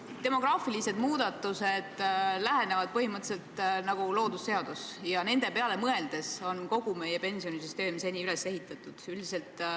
Demograafilised muutused lähenevad põhimõtteliselt nagu loodusseadus ja nende peale mõeldes on kogu meie pensionisüsteem seni üles ehitatud.